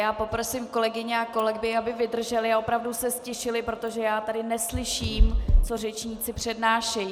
Já poprosím kolegyně a kolegy, aby vydrželi a opravdu se ztišili, protože já tady neslyším, co řečníci přednášejí.